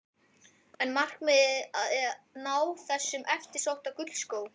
Er markmiðið að ná þessum eftirsótta gullskó?